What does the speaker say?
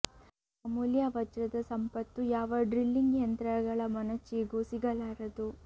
ಈ ಅಮೂಲ್ಯ ವಜ್ರದ ಸಂಪತ್ತು ಯಾವ ಡ್ರಿಲ್ಲಿಂಗ್ ಯಂತ್ರಗಳ ಮೊನಚಿಗೂ ಸಿಗಲಾರದು